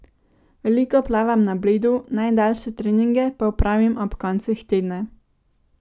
Veliko plavam na Bledu, najdaljše treninge pa opravim ob koncih tedna.